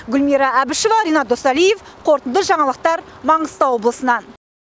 гүлмира әбішева ренат досалиев қорытынды жаңалықтар маңғыстау облысынан